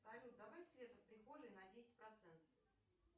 салют добавь свет в прихожей на десять процентов